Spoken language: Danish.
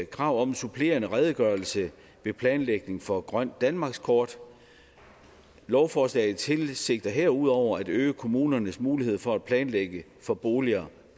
krav om en supplerende redegørelse ved planlægning for grønt danmarkskort lovforslaget tilsigter herudover at øge kommunernes mulighed for at planlægge for boliger